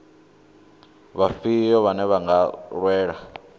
vhafhio vhane vha nga lwela